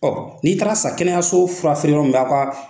n'i taar'a san kɛnɛyaso furafeereyɔrɔ min na k'o a